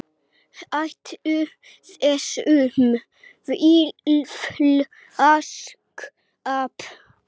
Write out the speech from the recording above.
Hættu þessum fíflaskap.